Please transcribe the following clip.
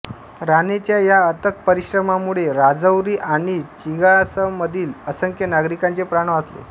राणेंच्या या अथक परिश्रमामुळे राजौरी आणि चिंगासमधील असंख्य नागरिकांचे प्राण वाचले